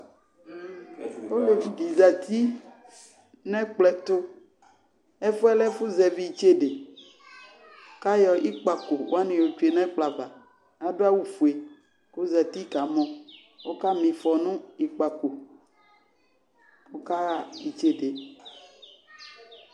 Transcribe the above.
Olevi dɩ zati nʋ ɛkplɔ ɛtʋ, ɛfʋ yɛ lɛ ɛfʋzɛvɩ itsede, kʋ ayɔ ikpǝko wanɩ yɔtsue nʋ ɛkplɔ ava, adʋ awʋ fue, kʋ ɔzati kamɔ, ɔkama ɩfɔ nʋ ikpǝko kʋ ɔkaɣa itsede yɛ